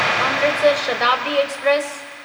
Amritsar Shatabdi express